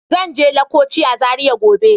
Zan je laccoci a Zaria gobe.